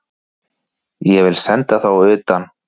Ég vil senda þá utan!